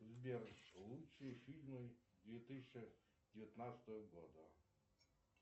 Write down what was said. сбер лучшие фильмы две тысячи девятнадцатого года